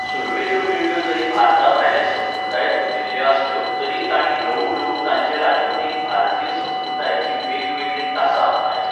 सुरवेच्यो पिळग्यो जरी भारता भायले संस्कृतायेंत रुजिल्ल्यो आसल्यो तरीय तांणी ल्हवू ल्हवू तांचे राजवटींत भारतीय संस्कृतायेचीं वेगवेगळीं तासां आपणायलीं.